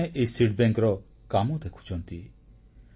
ମହିଳାମାନେ ଏହି ବିହନବ୍ୟାଙ୍କର କାମ ଦେଖୁଛନ୍ତି